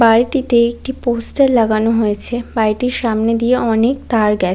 বাড়িটিতে একটি পোস্টার লাগানো হয়েছে বাড়িটির সামনে দিয়ে অনেক তার গে--